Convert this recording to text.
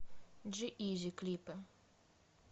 джи изи клипы